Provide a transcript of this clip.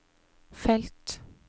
felt